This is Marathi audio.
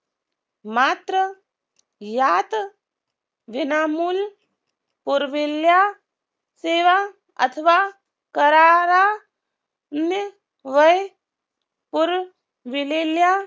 मात्र यात विनामुल पुरविल्या सेवा अथवा करारा ने वय पुरविलेल्या